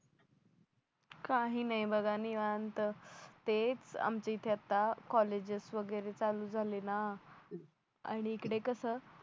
काही नाही बघा निवांत तेच आमच्या इथे आता कॉलेजेस वगैरे चालू झाले ना आणि इकडे कसं